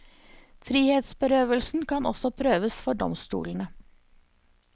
Frihetsberøvelsen kan også prøves for domstolene.